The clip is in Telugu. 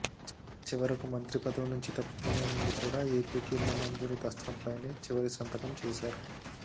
చివరకు మంత్రి పదవి నుంచి తప్పుకునే ముందు కూడా ఏపీకి ఇళ్ల మంజూరు దస్త్రంపైనే చివరి సంతకం చేసారు